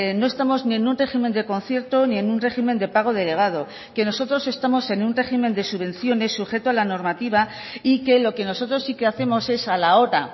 no estamos ni en un régimen de concierto ni en un régimen de pago delegado que nosotros estamos en un régimen de subvenciones sujeto a la normativa y que lo que nosotros sí que hacemos es a la hora